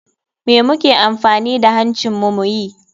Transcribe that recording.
Me muke amfani da hancin mu muyi?